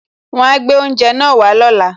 Wọn ó gbé oúnjẹ náà wá lóla